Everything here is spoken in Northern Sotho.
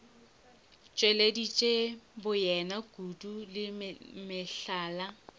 tšweleditše boyena kudu le mehlala